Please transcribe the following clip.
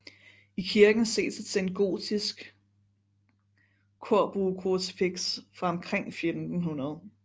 I kirken ses et sengotisk korbuekrucifiks fra omkring 1500